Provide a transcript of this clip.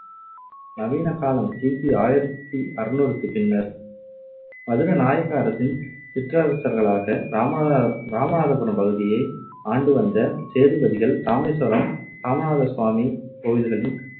நவீன காலம் கி பி ஆயிரத்தி அறுநூறுக்கு பின்னர் மதுரை நாயக்க அரசின் சிற்றரசர்களாக இராமநாத~ இராமநாதபுரம் பகுதியை ஆண்டு வந்த சேதுபதிகள் இராமேஸ்வரம் இராமநாத சுவாமி கோவில்களின்